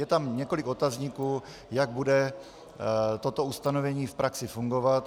Je tam několik otazníků, jak bude toto ustanovení v praxi fungovat.